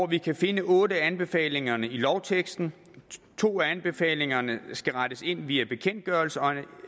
vi kan finde otte af anbefalingerne i lovteksten to af anbefalingerne skal rettes ind via bekendtgørelser og